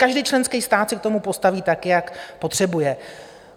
Každý členský stát se k tomu postaví tak, jak potřebuje.